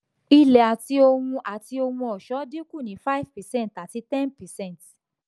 ilé àti ohun àti ohun ọṣọ́ dínkù ní five percent àti ten percent